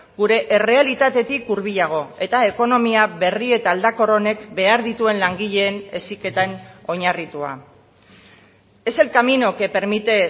gure errealitatetik hurbilago eta ekonomia berri eta aldakor honek behar dituen langileen heziketan oinarritua es el camino que permite